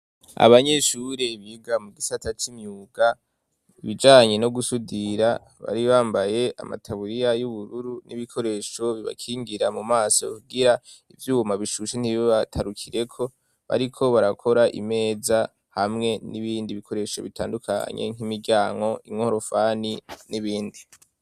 abanyeshure biga mu gisata c;imyuga, ibijanye no gusudira, bari bambaye amataburiya y'ubururu, n'ibikoresho bibakingira mu maso, kugira ibyuma bishushe ntibi batarukireko, bariko barakora imeza, hamwe n'ibindi bikoresho bitandukanye, nk'imiryango, inkorofani n'ibindi.